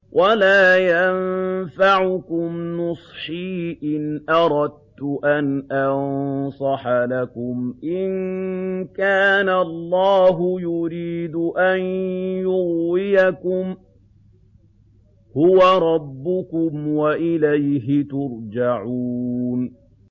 وَلَا يَنفَعُكُمْ نُصْحِي إِنْ أَرَدتُّ أَنْ أَنصَحَ لَكُمْ إِن كَانَ اللَّهُ يُرِيدُ أَن يُغْوِيَكُمْ ۚ هُوَ رَبُّكُمْ وَإِلَيْهِ تُرْجَعُونَ